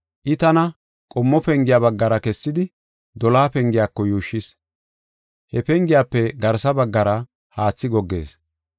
I tana qommo pengiya baggara kessidi, doloha pengiyako yuushshis. He pengiyafe garsa baggara haathi goggees.